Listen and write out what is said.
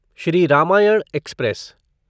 Shri Ramayana express